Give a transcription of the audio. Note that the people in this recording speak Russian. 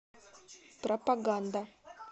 пропаганда